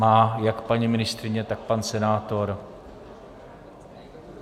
má jak paní ministryně, tak pan senátor.